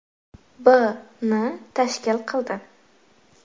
b. ni tashkil qildi.